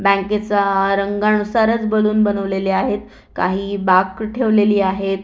बँकेचा रंगा नुसार च बलून बनवलेले आहेत काही बाक ठेवलेली आहेत.